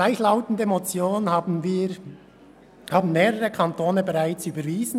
Gleichlautende Motionen wurden in mehreren Kantonen bereits überwiesen.